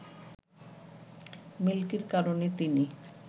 মিল্কির কারণে তিনি